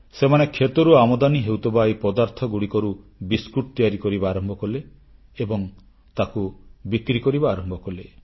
ସେମାନେ କ୍ଷେତରୁ ଆମଦାନୀ ହେଉଥିବା ଏହି ପଦାର୍ଥଗୁଡ଼ିକରୁ ବିସ୍କୁଟ ତିଆରି କରିବା ଆରମ୍ଭ କଲେ ଏବଂ ତାକୁ ବିକ୍ରି କରିବା ଆରମ୍ଭ କଲେ